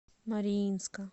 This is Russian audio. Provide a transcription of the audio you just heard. мариинска